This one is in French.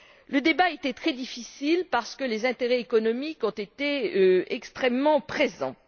Le débat était très difficile parce que les intérêts économiques ont été extrêmement présents.